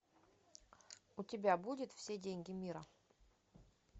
у тебя будет все деньги мира